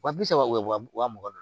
Wa bi saba u bɛ wa mugan don